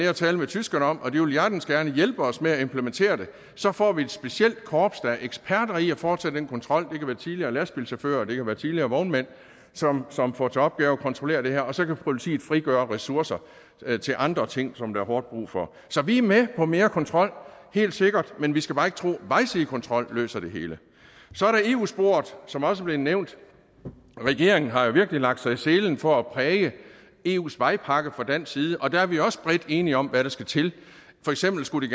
og tale med tyskerne om og de vil hjertens gerne hjælpe os med at implementere det så får vi et specialkorps der er eksperter i at foretage den kontrol det tidligere lastbilchauffører og det kan være tidligere vognmænd som som får til opgave at kontrollere det her og så kan politiet frigøre ressourcer til andre ting som der er hårdt brug for så vi er med på mere kontrol helt sikkert men vi skal bare ikke tro at vejsidekontrol løser det hele så er der eu sporet som også blev nævnt regeringen har jo virkelig lagt sig i selen for at præge eus vejpakke fra dansk side og der er vi også bredt enige om hvad der skal til for eksempel skulle